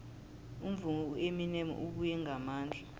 umvumi ueminem ubuye ngamandla